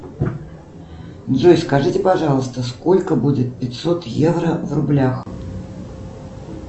джой скажите пожалуйста сколько будет пятьсот евро в рублях